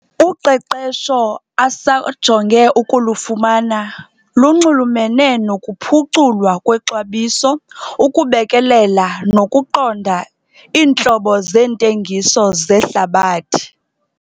Uqeqesho asajonge ukulufumana lunxulumene nokuphuculwa kwexabiso, ukubekelela nokuqonda iintlobo zeentengiso zehlabathi.